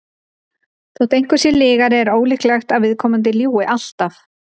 þótt einhver sé lygari er ólíklegt að viðkomandi ljúgi alltaf